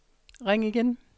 ring igen